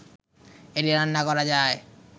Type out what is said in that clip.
এটি রান্না করা যায়